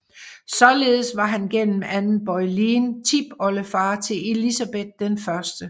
Således var han gennem Anne Boleyn tipoldefar til Elizabeth 1